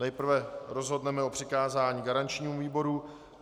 Nejprve rozhodneme o přikázání garančnímu výboru.